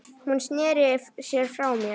Hún sneri sér frá mér.